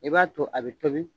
I b'a to a bɛ tobi